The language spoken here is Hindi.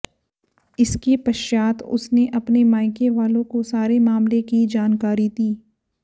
इसके पश्चात उसने अपने मायके वालों को सारे मामले की जानकारी दी